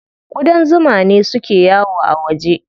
Ƙudan zuma ne suke yawo a waje.